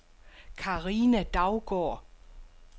Carina Daugaard